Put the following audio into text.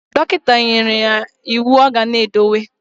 Dokita neyere ya iwu oga na edowu.